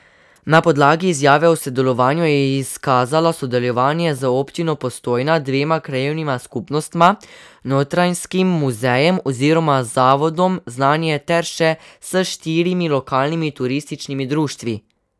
Na podlagi izjave o sodelovanju je izkazala sodelovanje z občino Postojna, dvema krajevnima skupnostma, Notranjskim muzejem oziroma Zavodom Znanje ter še s štirimi lokalnimi turističnimi društvi.